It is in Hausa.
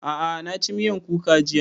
A'a na ci miyan kuka jiya